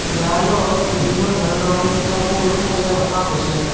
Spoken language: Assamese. দেৱালত বিভিন্ন ধৰণৰ কিতাপবোৰ সজাই ৰখা হৈছে।